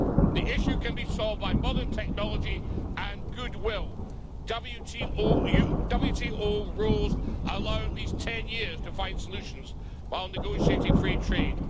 The issue can be solved by modern technology and goodwill. WTO rules allow at least 10 years to find solutions while negotiating free trade.